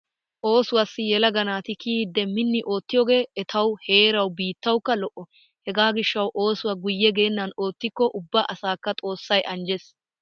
Oosuwaassi yelaga naati kiyidi minni ootiyoogee etawu heerawu biittawukka lo'o. Hegaa gishshawu oosuwaa guyye geennan ottikko ubba asaakka xoossay anjjes.